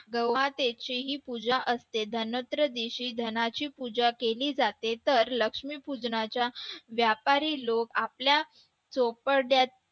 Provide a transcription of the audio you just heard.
गोमातेची ही पूजा असते धनत्रयोदशी धनाची पूजा असते धनत्रयोदशी धनाजी पूजा केली जाते लक्ष्मीपूजनाच्या व्यापारी लोक आपल्या चोपडा पूजा